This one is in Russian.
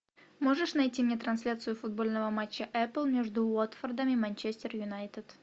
можешь найти мне трансляцию футбольного матча апл между уотфордом и манчестер юнайтед